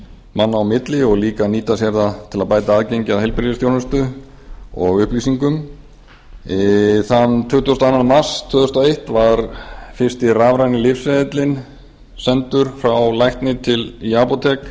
manna á milli og líka að nýta sér það til að bæta aðgengi að heilbrigðisþjónustu og upplýsingum þann tuttugasta og annan mars tvö þúsund og eitt var fyrsti rafræni lyfseðillinn sendur frá lækni í apótek